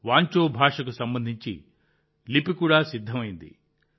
వాంచో భాషకు సంబంధించిన లిపి కూడా సిద్ధమైంది